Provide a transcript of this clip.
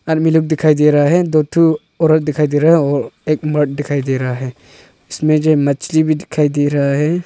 आदमी लोग दिखाई दे रहा हैं दो ठो औरत दिखाई दे रहे और एक मर्द दिखाई दे रहा हैं इसमें मछली भी दिखाई दे रहा हैं।